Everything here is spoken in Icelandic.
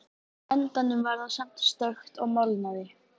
Á endanum varð það samt stökkt og molnaði.